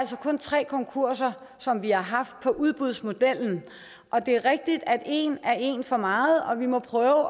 tre konkurser som vi har haft på udbudsmodellen og det er rigtigt at en er en for meget og vi må prøve at